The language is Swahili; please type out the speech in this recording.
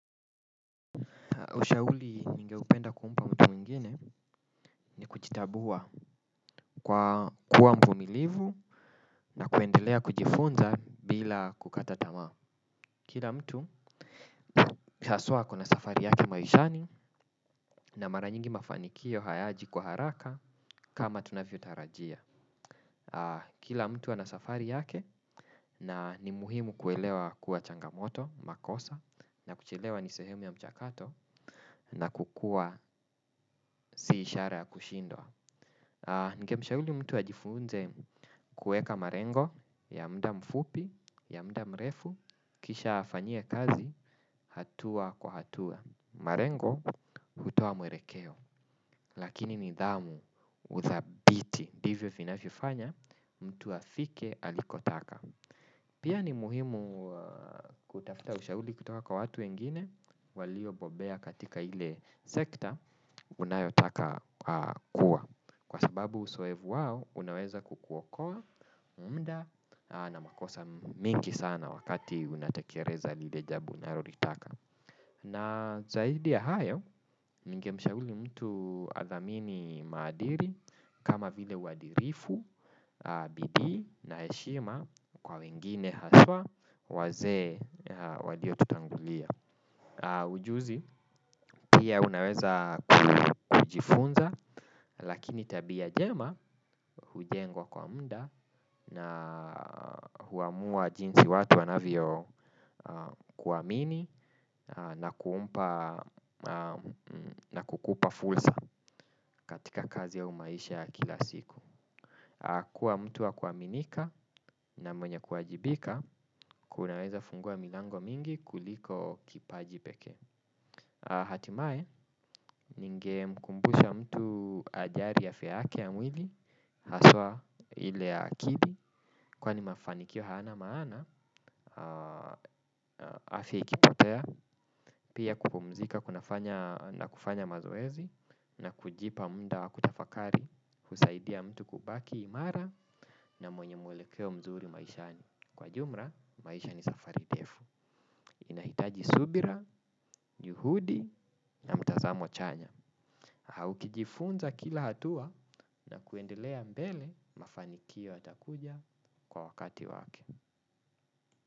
Ushauri ningeupenda kumpa mtu mwingine ni kuchitambua kwa kuwa mvumilivu na kuendelea kujifunza bila kukata tamaa. Kila mtu haswa akona safari yake maishani na mara nyingi mafanikio hayaji kwa haraka kama tunavyo tarajia. Kila mtu ana safari yake na ni muhimu kuelewa kuwa changamoto, makosa na kuchelewa nisehemu ya mchakato na kukua si ishara ya kushindwa. Ningemshahuli mtu ajifunze kueka marengo ya muda mfupi ya muda mrefu kisha afanyie kazi hatua kwa hatua. Malengo hutua mwelekeo lakini nidhamu uthabiti ndivyo vinafvyofanya mtu afike alikotaka. Pia ni muhimu kutafuta ushauri kutoka kwa watu wengine walio bobea katika ile sekta unayotaka kuwa kwa sababu usoevu wao unaweza kukuokoa, muda na makosa mengi sana wakati unatekeleza lile jambo unalolitaka. Na zaidi ya hayo ningemshauri mtu adhamini madili kama vile wadirifu, bidii na heshima kwa wengine haswa wazee walio tutangulia. Ujuzi pia unaweza kujifunza lakini tabia njema hujengwa kwa muda na huamua jinsi watu wanavyo kuamini na kukupa fulsa katika kazi ya umaisha ya kila siku. Kuwa mtu wa kuaminika na mwenye kuajibika kunaweza fungua milango mingi kuliko kipaji peke. Hatimaye ninge mkumbusha mtu ajari afya yake ya mwili. Haswa ile akili. Kwani mafanikio hayana maana. Afya ikipotea pia kupumzika kunafanya na kufanya mazoezi. Na kujipa muda wa kutafakari. Kusaidia mtu kubaki imara na mwenye mwelekeo mzuri maishani. Kwa jumla maishani safari ndefu. Inahitaji subira, juhudi na mutazamo chanya na ukijifunza kila hatua na kuendelea mbele mafanikiwa yatakuja kwa wakati wake.